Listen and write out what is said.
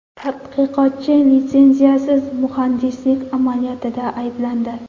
Tadqiqotchi litsenziyasiz muhandislik amaliyotida ayblandi.